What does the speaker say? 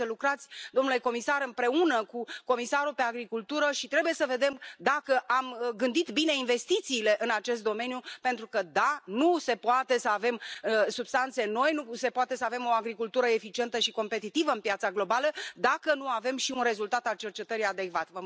Trebuie să lucrați, domnule comisar, împreună cu comisarul pentru agricultură și trebuie să vedem dacă am gândit bine investițiile în acest domeniu, pentru că, da, nu se poate să avem substanțe noi, nu se poate să avem o agricultură eficientă și competitivă în piața globală, dacă nu avem și un rezultat al cercetării adecvat.